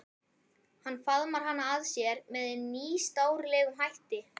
Hann faðmar hana að sér með nýstárlegum hætti.